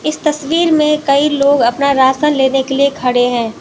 इस तस्वीर में कई लोग अपना राशन लेने के लिए खड़े हैं।